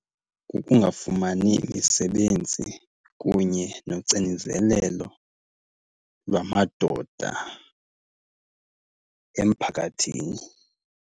Kukungafumani misebenzi kunye nocinizelelo lwamadoda emphakathini.